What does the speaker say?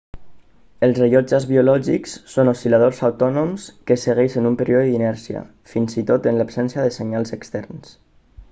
els rellotges biològics són oscil·ladors autònoms que segueixen un període d'inèrcia fins i tot en absència de senyals externs